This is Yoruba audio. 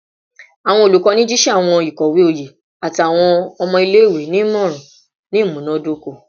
Awọn olukọni jiṣẹ awọn ikowe oye ati awọn ọmọ ile-iwe ni imọran ni imunadoko